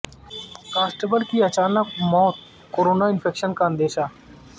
constable کی اچانک موت کورونا انفیکشن کا اندیشہ